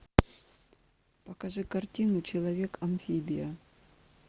покажи картину человек амфибия